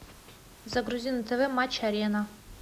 загрузи на тв матч арена